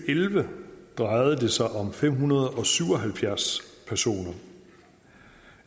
elleve drejede det sig om fem hundrede og syv og halvfjerds personer